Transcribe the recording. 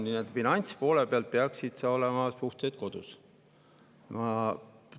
Nii et finantspoole pealt peaksid sa suhteliselt nagu kodus.